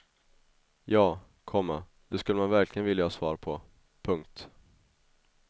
Ja, komma det skulle man verkligen vilja ha svar på. punkt